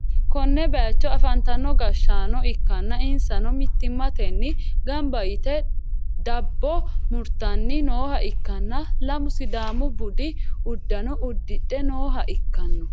konne bayicho afantino gashshaano ikkanna insano mittimmatenni gamba yite dabbo murtanni nooha ikkanna, lamu sidaamu budi uddano uddidhe nooha ikkanno.